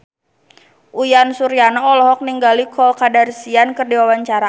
Uyan Suryana olohok ningali Khloe Kardashian keur diwawancara